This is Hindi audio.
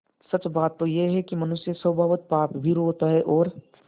सच बात तो यह है कि मनुष्य स्वभावतः पापभीरु होता है और